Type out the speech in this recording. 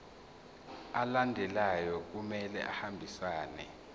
alandelayo kumele ahambisane